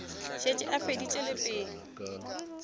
šetše a feditše le pelo